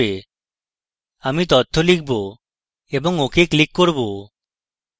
আমি তথ্য লিখব এবং ok click করব